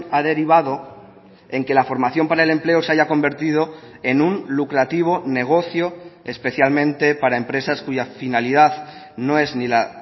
ha derivado en que la formación para el empleo se haya convertido en un lucrativo negocio especialmente para empresas cuya finalidad no es ni la